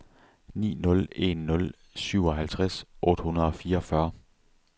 ni nul en nul syvoghalvtreds otte hundrede og fireogfyrre